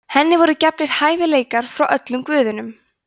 henni voru gefnir hæfileikar frá öllum guðunum